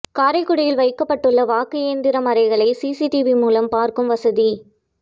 காரைக்குடியில் வைக்கப்பட்டுள்ள வாக்கு இயந்திரம் அறைகளை டிவி மூலம் பார்க்கும் வசதி